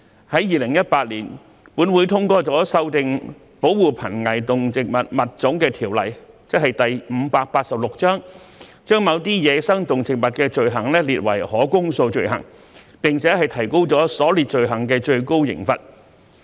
在2018年，本會通過修訂《保護瀕危動植物物種條例》，把某些走私野生動植物罪行列為可公訴罪行，並提高了所列罪行的最高刑罰。